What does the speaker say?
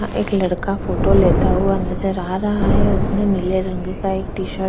एक लड़का फोटो लेता हुआ नजर आ रहा है उसने नीले रंग का एक टी- शर्ट --